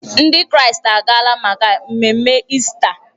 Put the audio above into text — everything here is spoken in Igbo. Ndị Kraịst agaala maka mmemme Ista.